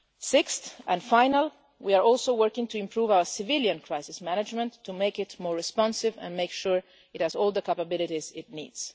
Sixth, and finally, we are also working to improve our civilian crisis management to make it more responsive and make sure it has all the capabilities it